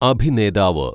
അഭിനേതാവ്